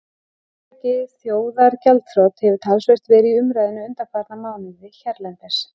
Hugtakið þjóðargjaldþrot hefur talsvert verið í umræðunni undanfarna mánuði hérlendis.